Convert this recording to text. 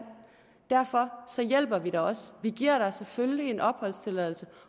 derfor hjælper vi dig vi giver dig selvfølgelig en opholdstilladelse